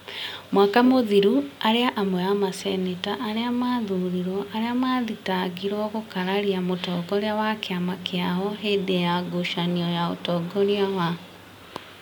Mwaka mũthiru, arĩ amwe a maseneta arĩa mathurirwo arĩa mathitangĩirũo gũkaria mũtongoria wa kĩama kĩao hindi ya ngucanio ya ũtongoria wa.